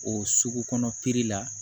O sugu kɔnɔna la